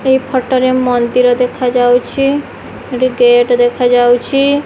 ଏହି ଫଟୋ ରେ ମନ୍ଦିର ଦେଖା ଯାଉଛି ସେଠି ଗେଟ୍ ଦେଖା ଯାଉଛି।